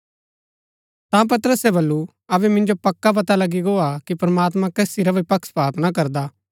ता पतरसे बल्लू अबै मिन्जो पक्का पता लगी गो हा कि प्रमात्मां कसी रा भी पक्षपात ना करदा